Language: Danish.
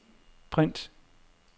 print